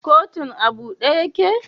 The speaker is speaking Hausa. Kotun a bude yake?